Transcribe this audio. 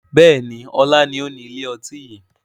Bẹ́ẹ̀ni, ọlá ni ó ni ilé ọtí yìí